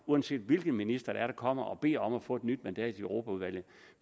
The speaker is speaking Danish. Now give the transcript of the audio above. uanset hvilken minister der kommer og beder om at få et nyt mandat i europaudvalget